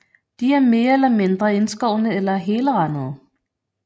De er mere eller mindre indskårne eller helrandede